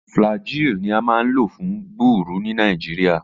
Flagyl ni a maa n lo fun gbuuru ni Nigeria.